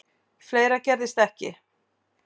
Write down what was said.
Fleira gerðist ekki.